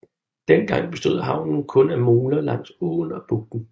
Dengang bestod havnen kun af moler langs åen og bugten